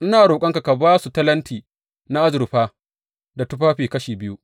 Ina roƙonka ka ba su talenti na azurfa da tufafi kashi biyu.’